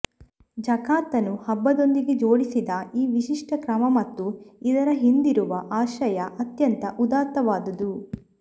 ಝಕಾತನ್ನು ಹಬ್ಬದೊಂದಿಗೆ ಜೋಡಿಸಿದ ಈ ವಿಶಿಷ್ಠ ಕ್ರಮ ಮತ್ತು ಇದರ ಹಿಂದಿರುವ ಆಶಯ ಅತ್ಯಂತ ಉದಾತ್ತವಾದುದು